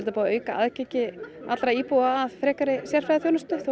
búið að auka aðgengi allra íbúa að frekari sérfræðiþjónustu þó að